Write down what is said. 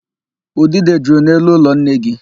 Udide juru n'elu ụlọ nne gị.